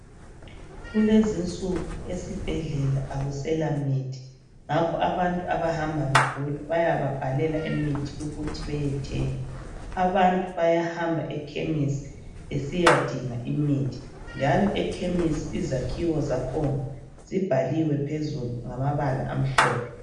Kulezinsuku ezibhedlela akuselamithi ngakho abantu abahamba begula bayababhalela imithi ukuthi beyethenga. Abantu bayahamba ekhemisi besiyadinga imithi njalo ekhemisi izakhiwo zakhona zibhaliwe phezulu ngamabala amhlophe.